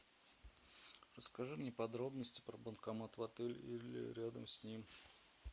расскажи мне подробности про банкомат в отеле или рядом с ним